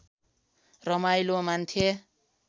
रमाइलो मान्थे